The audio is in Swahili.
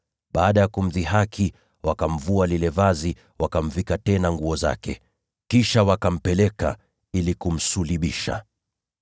Baada ya kumdhihaki, wakamvua lile joho, wakamvika tena nguo zake. Kisha wakampeleka ili wakamsulubishe.